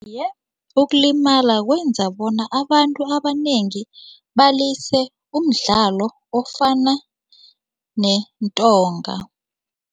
Iye, ukulimala kwenza bona abantu abanengi balise umdlalo ofana nentonga.